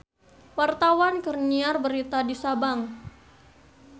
Wartawan keur nyiar berita di Sabang